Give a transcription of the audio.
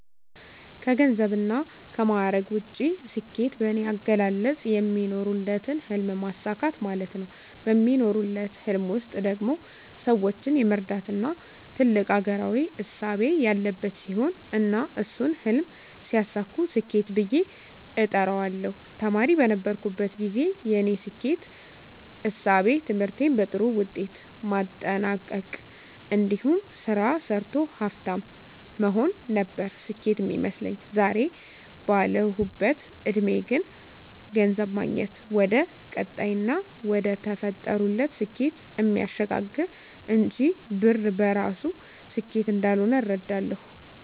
ከገንዘብና ከማዕረግ ውጭ፣ ስኬት በኔ አገላለጽ የሚኖሩለትን ህልም ማሳካት ማለት ነው። በሚኖሩለት ህልም ውስጥ ደግሞ ሰወችን የመርዳትና ትልቅ አገራዊ እሳቤ ያለበት ሲሆን እና እሱን ህልም ሲያሳኩ ስኬት ብየ እጠራዋለሁ። ተማሪ በነበርኩበት ግዜ የኔ ስኬት እሳቤ ትምህርቴን በጥሩ ውጤት ማጠናቅ እንዲሁም ስራ ሰርቶ ሀፍታም መሆን ነበር ስኬት ሚመስለኝ። ዛሬ ባለሁበት እድሜ ግን ገንዘብ ማግኘት ወደቀጣይና ወደተፈጠሩለት ስኬት እሚያሸጋግር እንጅ ብር በራሱ ስኬት እንዳልሆነ እረዳለሁ።